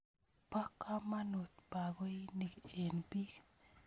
Po kamanut pakoinik eng' piik